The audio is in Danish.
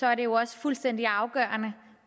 er det jo også fuldstændig afgørende